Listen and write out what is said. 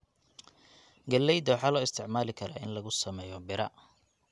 Galleyda waxaa loo isticmaali karaa in lagu sameeyo bira.